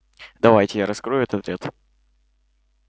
давайте я раскрою этот ряд